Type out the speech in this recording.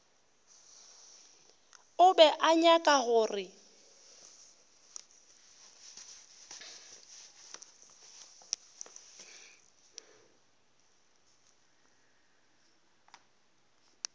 o be a nyaka gore